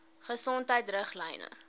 gesondheidriglyne